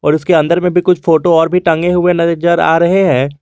और उसके अंदर में भी कुछ फोटो और भी टंगे हुए नजर आ रहे है।